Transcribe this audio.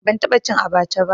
Ban taɓa cin abaca ba